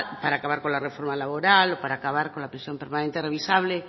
para acabar con la reforma laboral o para acabar con la prisión permanente revisable